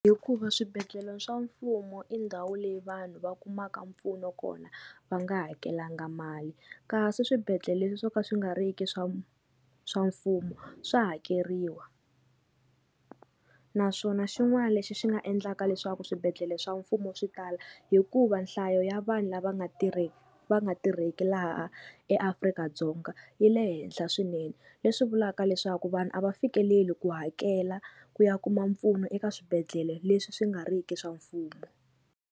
Hikuva swibedhlele swa mfumo i ndhawu leyi vanhu va kumaka mpfuno kona va nga hakelanga mali kasi swibedhlele leswi swo ka swi nga ri ki swa swa mfumo swa hakeriwa naswona xin'wana lexi xi nga endlaka leswaku swibedhlele swa mfumo swi tala hikuva nhlayo ya vanhu lava nga tirheki va nga tirheki laha eAfrika-Dzonga yi le henhla swinene leswi vulaka leswaku vanhu a va fikeleli ku hakela ku ya kuma mpfuno eka swibedhlele leswi swi nga riki swa mfumo.